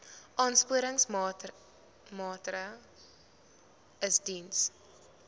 aansporingsmaatre ls diens